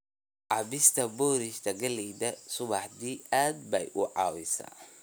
cabbista boorash galleyda subaxdii aad bay u caawisaa.